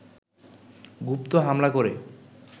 গুপ্ত হামলা করে